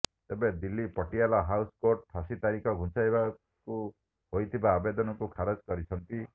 ତେବେ Delhi Patiala house court ଫାଶୀ ତାରିଖ ଘୁଞ୍ଚାଇବାକୁ ହୋଇଥିବା ଆବେଦନକୁ ଖାରଜ କରିଛନ୍ତି